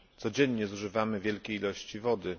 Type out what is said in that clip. Codziennie zużywamy wielkie ilości wody.